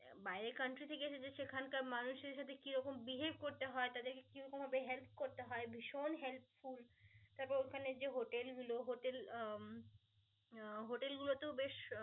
বাইরে country থেকে এসেছে সেখানকার মানুষের সাথে কি রকম behave করতে হয়, তাদেরকে কিরকম ভাবে help করতে হয়, ভিষণ helpful তারপর ওখানে যে hotel গুলো hotel উম hotel গুলোতে বেশ আহ